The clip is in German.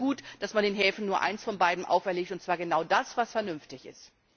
Darum ist es gut, dass man den Häfen nur eines von beiden auferlegt, und zwar genau das, was vernünftig ist.